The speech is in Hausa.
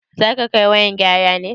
Zaka kai wayan gyara ne?